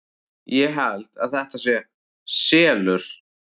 Ég held að þetta sé SELUR!